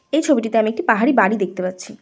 এই ছবিটিতে আমি একটি পাহাড়ি বাড়ি দেখতে পাচ্ছি।